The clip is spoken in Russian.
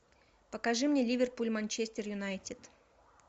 покажи мне ливерпуль манчестер юнайтед